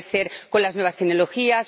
puede darse con las nuevas tecnologías